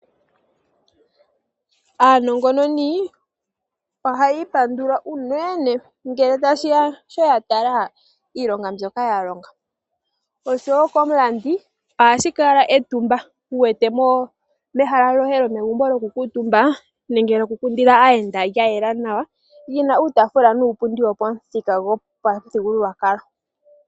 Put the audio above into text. Aanongononi ohayiipandula unene ngele tashiya shoya tala iilonga mbyoka yalonga. Osho wo komulandi ohashi kala etumba wu wete mehala lyoye lyokukuutumba nenge lyoku kundila aayenda lyayela nawa lyina uutaafula nuupundi wopamuthika gopamuthigululwakalo.